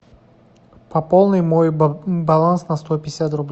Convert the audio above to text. пополни мой баланс на сто пятьдесят рублей